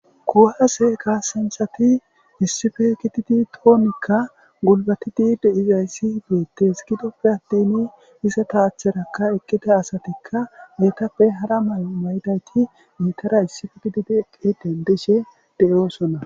Kuuwase kassanchcathi issipe gididi xoonikka gulbbathidi de7izayssi beeththees; gidoppe aththini mizetha achchaani eqqida asathikka heethappe hara maayo mayidaagee eethara issippe gididi eqqi denddoshe de7oosona.